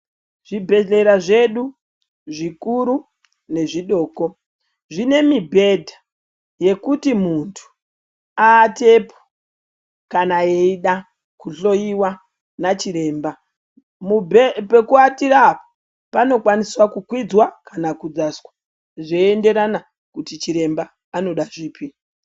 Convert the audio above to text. Zvibhedhlera zvedu zvikuru nezvidoko zvine mibhedha yekuti muntu aatepo kana eida kuzohloiwa nachiremba. Mubhe pekuatira apa panokwanisa kukwidzwa kana kudzaswa zveienderana kuti chiremba anoda zvipi.